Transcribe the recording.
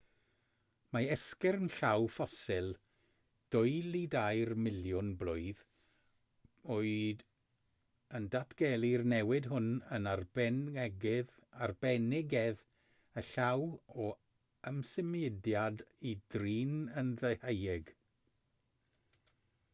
mae esgyrn llaw ffosil dwy i dair miliwn blwydd oed yn datgelu'r newid hwn yn arbenigedd y llaw o ymsymudiad i drin yn ddeheuig